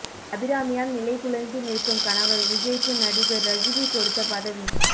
அபிராமியால் நிலைகுலைந்து நிற்கும் கணவர் விஜய்க்கு நடிகர் ரஜினி கொடுத்த பதவி